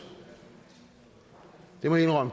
det må jeg